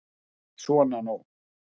Svona nú.